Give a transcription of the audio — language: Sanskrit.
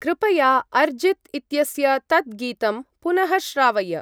कृपया अर्जीत् इत्यस्य तत् गीतं पुनः श्रावय।